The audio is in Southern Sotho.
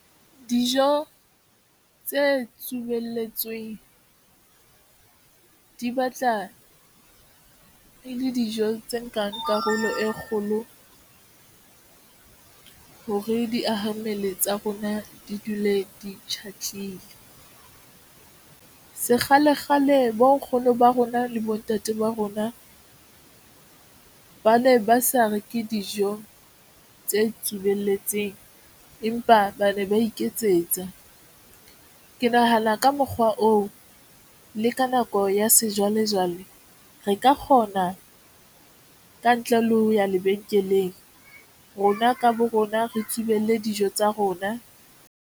Dijo tse tsubelletsweng di batla e le dijo tse nkang karolo e kgolo hore diahammele tsa rona di dule di sekgalekgale bo nkgono ba rona le bontate ba rona ba ne ba sa reke dijo tse tsubelletseng empa ba ne ba iketsetsa. Ke nahana ka mokgwa oo le ka nako ya sejwalejwale, re ka kgona ka ntle le ho ya lebenkeleng rona ka bo rona re tsubelle dijo tsa rona.